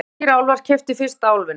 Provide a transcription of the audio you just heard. Hafnfirskir álfar keyptu fyrsta Álfinn